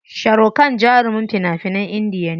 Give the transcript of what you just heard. Sharukhan jarumin fina finan Indiya ne.